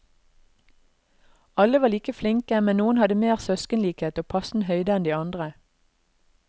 Alle var like flinke, men noen hadde mer søskenlikhet og passende høyde enn de andre.